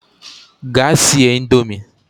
Gaa sie indomie!